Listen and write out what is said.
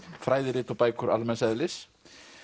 fræðirit og bækur almenns eðlis